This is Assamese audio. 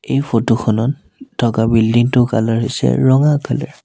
এই ফটো খনত থকা বিল্ডিঙ টো কালাৰ হৈছে ৰঙা কালাৰ ।